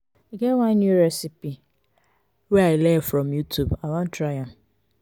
e get one new recipes wey i learn from youtube i wan try am.